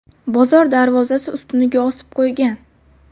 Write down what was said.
bozor darvozasi ustuniga osib qo‘ygan.